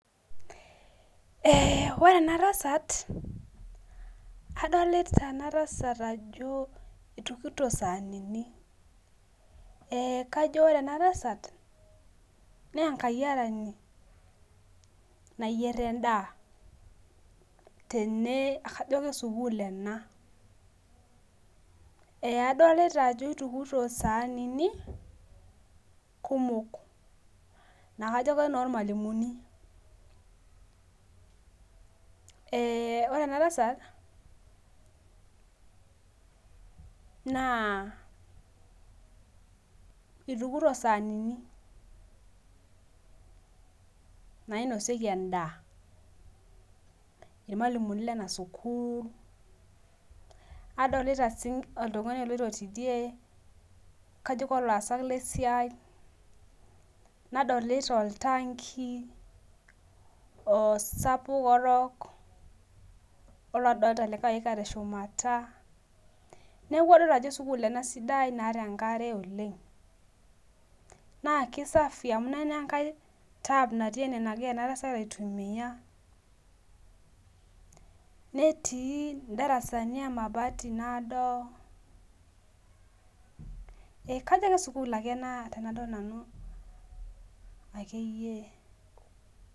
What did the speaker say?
Ee ore ebatasat adolta enatasat ajo itukito saanini kajo ore enatasat na enkayiarani nayier endaa tene kajo lesukul ena adolta ajo itukito saanini kumok kajo enormalimuni ore enatasat na itukito saanini nainosieki endaa irmalimulini lenasukul adolta si oltungani oloito tidie kajo olaasak lesiai nadolta oltanki osapuk orok nadolta likae oika teshumata neaku kadolta ajo sukul enasidai naata enkare oleng na kisafi amu lele olikae tap ogira enatasat aitumia netuu ndarasani emabati nado neaku kajo kesukul ena tanadol akeyie.